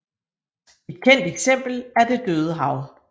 Et kendt eksempel er det Døde Hav